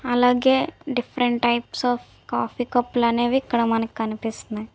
అలాగే different types of coffee cup లు అనేవి ఇక్కడ మన కి కనిపిస్తున్నాయి.